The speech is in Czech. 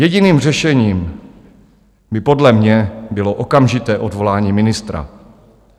Jediným řešením by podle mě bylo okamžité odvolání ministra.